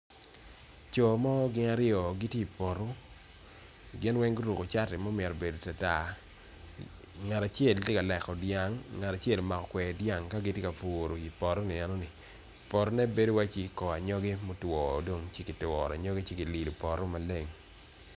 Coo mo gin aryo gitye i poto ginweng guruko cati ma omito beod tartar ngat acel tye ka leko dyang ngat acel omako kweri dyang kagitye kaputo potoni eno ni potone bedo waci kor anyogi motwo dong ci turo anyogi ci lido poto maleng.